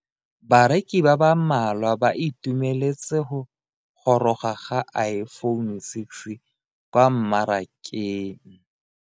Bareki ba ba malwa ba ituemeletse go goroga ga Iphone6 kwa mmarakeng.